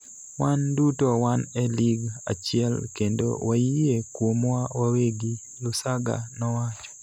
wan duto wan e lig achiel kendo wayie kuomwa wawegi, Lusaga nowacho.